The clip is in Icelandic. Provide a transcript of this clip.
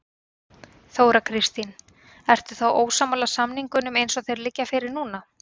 Þóra Kristín: Ertu þá ósammála samningunum eins og þeir liggja fyrir núna?